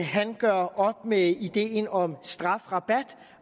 han gør op med ideen om strafrabat